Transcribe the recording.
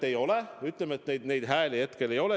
Aga ütleme, et neid neid hääli hetkel ei ole.